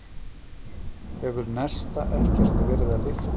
Hefur Nesta ekkert verið að lyfta?